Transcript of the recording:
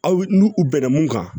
Aw n'u bɛnna mun kan